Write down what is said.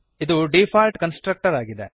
ಇದು default constructor ಆಗಿದೆ